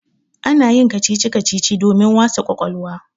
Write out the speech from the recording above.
Ana yin kacici-kacici domin wasa ƙwaƙwalwa.